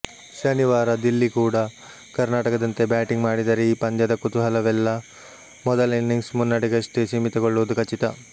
ಶನಿವಾರ ದಿಲ್ಲಿ ಕೂಡ ಕರ್ನಾಟಕದಂತೆ ಬ್ಯಾಟಿಂಗ್ ಮಾಡಿದರೆ ಈ ಪಂದ್ಯದ ಕುತೂಹಲವೆಲ್ಲ ಮೊದಲ ಇನ್ನಿಂಗ್ಸ್ ಮುನ್ನಡೆಗಷ್ಟೇ ಸೀಮಿತಗೊಳ್ಳುವುದು ಖಚಿತ